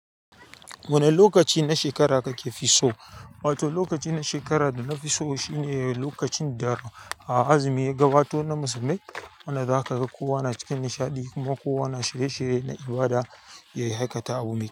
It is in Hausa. Wane lokaci na shekara kakefi so? Wato lokaci na shekara da nafiso shine lokacin da azumi ya gabato na musulmai. Wanda zakaga kowa na cikin nishaɗi kuma kowa na shirye-shirye na ibada yayi haikata abu me kyau.